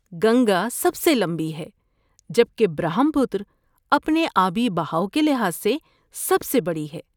گنگا سب سے لمبی ہے جبکہ برہم پترا اپنے آبی بہاؤ کے لحاظ سے سب سے بڑی ہے۔